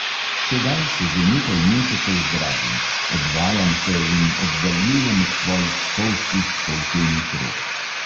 Sedaj se že nekaj mesecev zdravim, odvajam se in oddaljujem od tvojih spolzkih, poltenih rok.